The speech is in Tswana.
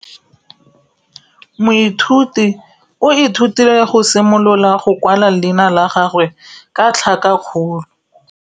Moithuti o ithutile go simolola go kwala leina la gagwe ka tlhakakgolo.